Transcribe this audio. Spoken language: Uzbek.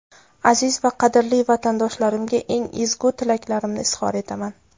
Aziz va qadrli vatandoshlarimga eng ezgu tilaklarimni izhor etaman.